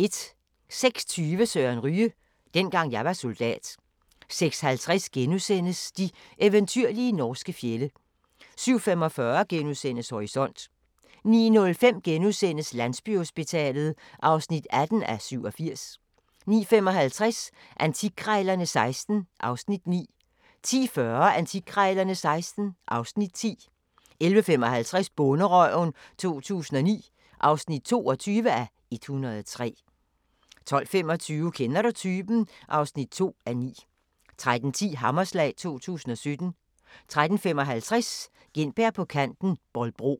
06:20: Søren Ryge: Dengang jeg var soldat 06:50: De eventyrlige norske fjorde * 07:45: Horisont * 09:05: Landsbyhospitalet (18:87)* 09:55: Antikkrejlerne XVI (Afs. 9) 10:40: Antikkrejlerne XVI (Afs. 10) 11:55: Bonderøven 2009 (22:103) 12:25: Kender du typen? (2:9) 13:10: Hammerslag 2017 13:55: Gintberg på kanten – Bolbro